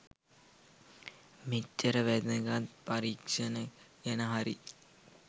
මෙච්චර වැදගත් පරීක්ෂණය ගැන හරි